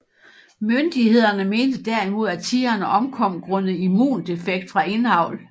Myndighederne mente derimod af tigrene omkom grundet immundefekt fra indavl